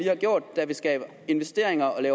har gjort der vil skabe investeringer